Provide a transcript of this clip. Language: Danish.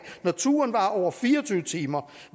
når turen varer over fire og tyve timer